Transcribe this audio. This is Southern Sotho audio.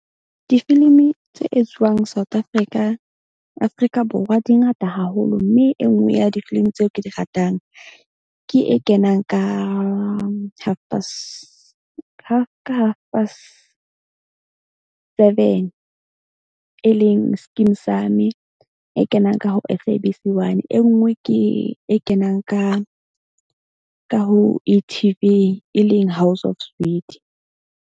Difilimi tse etsuwang South Africa, Afrika Borwa di ngata haholo. Mme e nngwe ya difilimi tseo ke di ratang ke e kenang ka half past ka half past seven e leng Skeem Saam-e. E kenang ka ho S_A_B_C one. E nngwe ke e kenang ka ho E_T_V e leng House of Zwide.